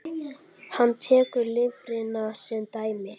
Hann tekur lifrina sem dæmi.